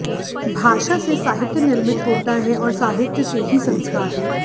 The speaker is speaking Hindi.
भाषा से साहित्य निर्मित होता है और साहित्य से ही संस्कार